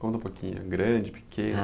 Conta um pouquinho, grande, pequena?